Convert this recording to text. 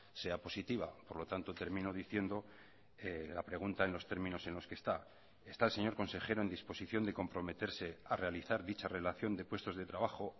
sea positiva por lo tanto termino diciendo la pregunta en los términos en los que está está el señor consejero en disposición de comprometerse a realizar dicha relación de puestos de trabajo